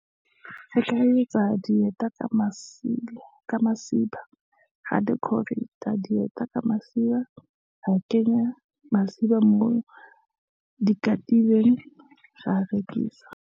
Re ka etsa dieta ka masiba, ra decorate-a a dieta ka masiba, ra kenya masiba moo dikatibeng, ra rekisa.